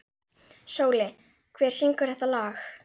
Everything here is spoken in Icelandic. Sóli, hver syngur þetta lag?